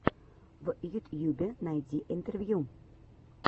в ютьюбе найди интервью